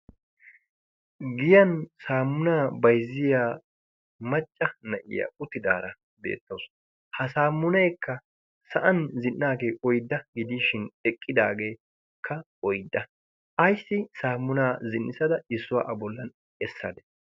Giyan saamunaa bayzziya macca na'iya uttidaara deettousu ha saamuneekka sa'an zin'aagee oydda gidiishin eqqidaageekka oydda. Ayssi saamunaa zin'issada issuwaa a bollan essade